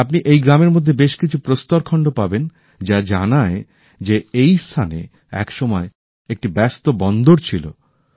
আপনি এই গ্রামের মধ্যে বেশ কিছু প্রস্তরখণ্ড পাবেন যা জানায় যে এই স্থানে একসময় একটি ব্যস্ত বন্দর ছিল